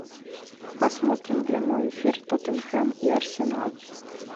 посмотрим прямой эфир тоттенхэм и арсенал